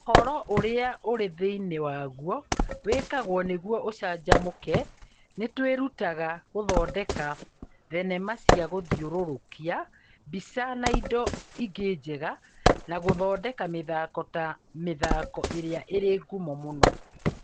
Ũhoro ũrĩa ũrĩ thĩinĩ waguo wĩkagwo nĩguo ũcanjamũke! Nĩ twĩrutaga gũthondeka thenema cia gũthiũrũrũkia mbica na indo ingĩ njega na gũthondeka mĩthako ta mĩthako ĩrĩa ĩrĩ ngumo mũno